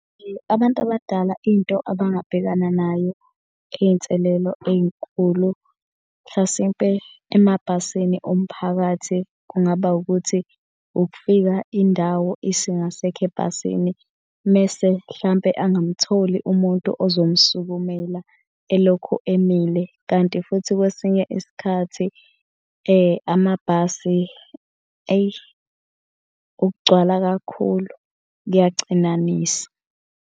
Abantu abadala into abangabhekana nayo iy'nselelo ey'nkulu mhlasimpe emabhasini omphakathi kungaba ukuthi ukufika indawo isingasekho ebhasini. Mese hlampe angamtholi umuntu ozomsukumela elokhu emile. Kanti futhi kwesinye isikhathi amabhasi eyi ukugcwala kakhulu, kyacinanisa.